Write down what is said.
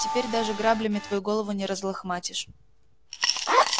теперь даже граблями твою голову не разлохматишь